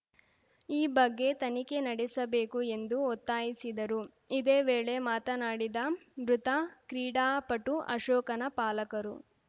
ಈ ಬಗ್ಗೆ ತನಿಖೆ ನಡೆಸಬೇಕು ಎಂದು ಒತ್ತಾಯಿಸಿದರು ಇದೇ ವೇಳೆ ಮಾತನಾಡಿದ ಮೃತ ಕ್ರೀಡಾಪಟು ಅಶೋಕನ ಪಾಲಕರು